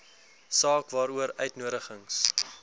saak waaroor uitnodigings